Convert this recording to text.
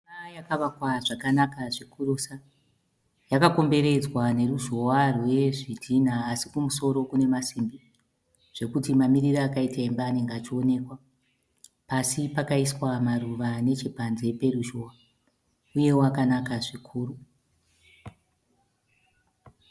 Imba yakawakwa zvakanaka zvikurusa yakakomberedzwa ne ruzhowa rwe zvidhina asi kumusoro kune maisimbi zvekuti mamiriro akaita imba anenge achioneka. Pasi pakaiswa maruva nechepanze peruzhowa uye akanaka zvikuru